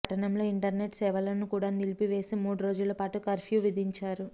పట్టణంలో ఇంటర్నెట్ సేవలను కూడా నిలిపివేసి మూడు రోజులపాటు కర్ఫ్యూ విధించారు